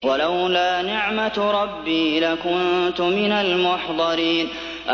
وَلَوْلَا نِعْمَةُ رَبِّي لَكُنتُ مِنَ الْمُحْضَرِينَ